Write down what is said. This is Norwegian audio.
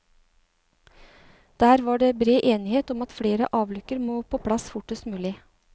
Der var det bred enighet om at flere avlukker må på plass fortest mulig.